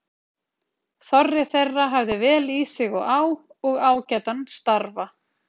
Þorri þeirra hafði vel í sig og á og ágætan starfa.